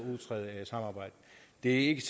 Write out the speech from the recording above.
ikke